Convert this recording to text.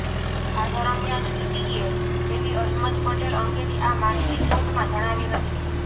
આ દરમિયાન ઇડીએ એવી અહેમદ પટેલ અંગેની આ માહિતી કોર્ટમાં જણાવી હતી